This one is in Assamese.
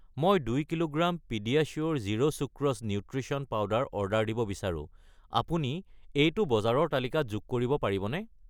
মই 2 কিলোগ্ৰাম পিডিয়াচিয়োৰ zero sucrose nutrition powder order দিব বিচাৰো, আপুনি এইটো বজাৰৰ তালিকাত যোগ কৰিব পাৰিবনে?